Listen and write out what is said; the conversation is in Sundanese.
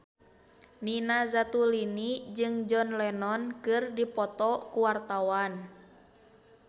Nina Zatulini jeung John Lennon keur dipoto ku wartawan